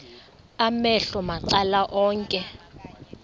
amehlo macala onke